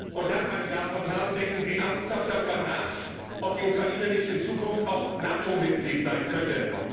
Und dann, meine Damen und Herren, denken Sie ernsthaft darüber nach, ob die Ukraine nicht in Zukunft auch NATO Mitglied sein könnte!